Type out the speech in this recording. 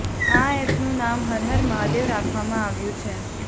આ એપનું નામ હર હર મહાદેવ રાખવામાં આવ્યું છે